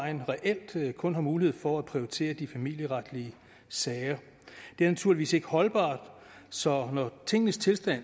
vejen reelt kun har mulighed for at prioritere de familieretlige sager det er naturligvis ikke holdbart så når tingenes tilstand